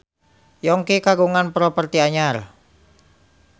Yongki kagungan properti anyar